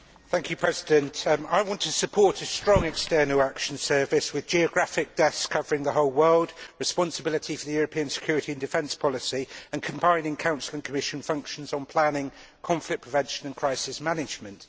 Mr President, I want to support a strong External Action Service with geographic desks covering the whole world, responsibility for the European Security and Defence Policy, and combining Council and Commission functions on planning, conflict prevention and crisis management.